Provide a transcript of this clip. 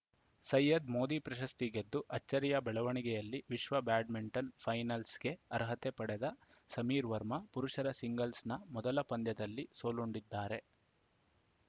ಸೈಯದ್‌ ಮೋದಿ ಪ್ರಶಸ್ತಿ ಗೆದ್ದು ಅಚ್ಚರಿಯ ಬೆಳವಣಿಗೆಯಲ್ಲಿ ವಿಶ್ವ ಬ್ಯಾಡ್ಮಿಂಟನ್‌ ಫೈನಲ್ಸ್‌ಗೆ ಅರ್ಹತೆ ಪಡೆದ ಸಮೀರ್‌ ವರ್ಮಾ ಪುರುಷರ ಸಿಂಗಲ್ಸ್‌ನ ಮೊದಲ ಪಂದ್ಯದಲ್ಲಿ ಸೋಲುಂಡಿದ್ದಾರೆ